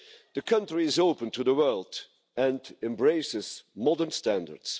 The country is open to the world and embraces modern standards.